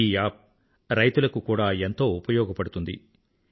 ఈ యాప్ రైతుల కు కూడా ఎంతో ఉపయోగపడుతుంది